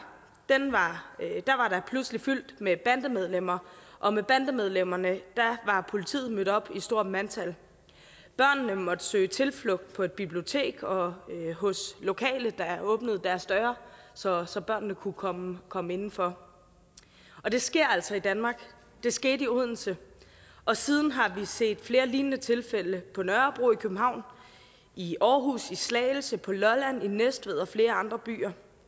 var der pludselig fyldt med bandemedlemmer og med bandemedlemmerne var politiet mødt op i stort mandtal børnene måtte søge tilflugt på et bibliotek og hos lokale der åbnede deres døre så så børnene kunne komme komme indenfor det sker altså i danmark det skete i odense og siden har vi set flere lignende tilfælde på nørrebro i københavn i aarhus i slagelse på lolland i næstved og flere andre byer